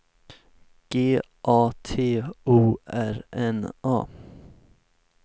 G A T O R N A